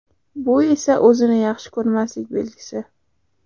Bu esa o‘zini yaxshi ko‘rmaslik belgisi.